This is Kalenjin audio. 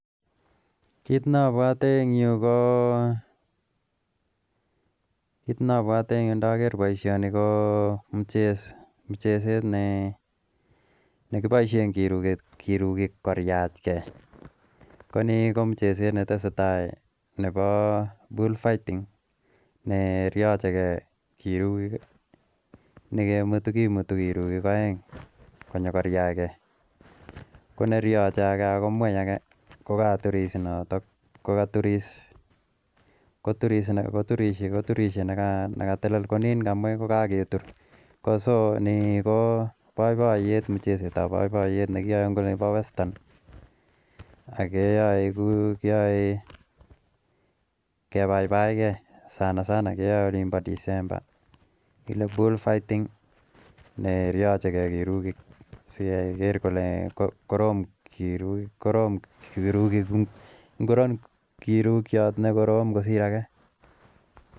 Kit nobwote ndoker bioshoni mucheset ne nekiboishen keruget mucheset netesetai nebo bull bull fighting nekimutu ruik oeng konerio ake kokagetur ni ko muchestt tab boiyet nekiyoe nebo westan yoe kebaibaigei keye olimbo dismember karon kirukyot kosir ake